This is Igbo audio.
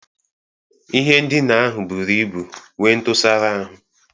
Ihe ndina ahụ buru ibu nwee ntụsara ahụ.